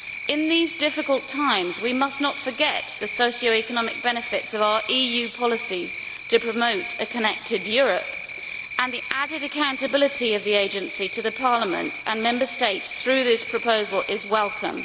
In these difficult times we must not forget the socio economic benefits of our EU policies in promoting a connected Europe and the added accountability of the agency to Parliament and Member States through this proposal is welcome.